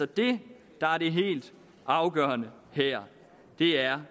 det der er det helt afgørende her er